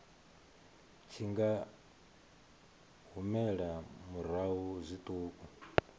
tshi nga humela murahu zwiṱuku